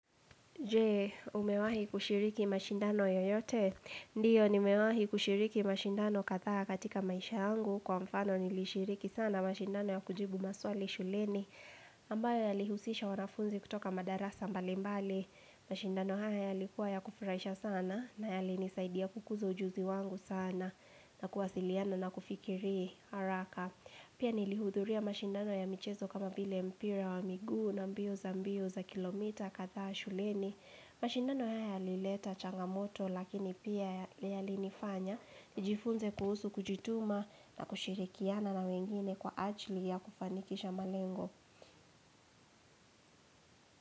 Je, umewahi kushiriki mashindano yoyote? Ndiyo, nimewahi kushiriki mashindano kadhaa katika maisha yangu kwa mfano nilishiriki sana mashindano ya kujibu maswali shuleni ambayo yalihusisha wanafunzi kutoka madarasa mbali mbali. Mashindano haya yalikuwa ya kufurahisha sana na yalinisaidia kukuza ujuzi wangu sana na kuwasiliano na kufikiri haraka. Pia nilihudhuria mashindano ya michezo kama vile mpira wa miguu na mbio za mbio za kilomita kadhaa shuleni. Mashindano haya yalileta changamoto lakini pia ya yalinifanya. Nijifunze kuhusu kujituma na kushirikiana na wengine kwa ajili ya kufanikisha malengo.